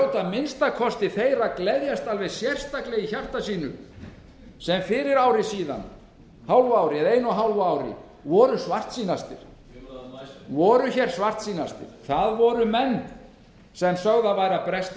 að minnsta kosti hljóta þeir að gleðjast alveg sérstaklega í hjarta sínu sem fyrir ári eða einu og hálfu ári voru svartsýnastir einhverjir sögðu að stórfelldur landflótti væri að bresta